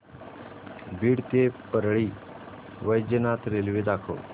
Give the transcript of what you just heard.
बीड ते परळी वैजनाथ रेल्वे दाखव